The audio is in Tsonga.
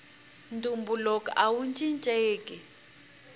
ntumbuluko awu cincenki